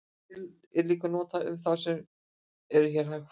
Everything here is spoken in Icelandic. Hún er líka notuð um þá sem eru hægfara.